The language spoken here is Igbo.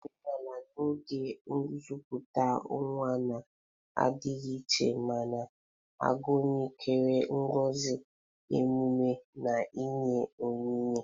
Omenala n'oge nkupute nwa na-adịgasị iche ma na-agụnyekarị ngozi, emume, na inye onyinye.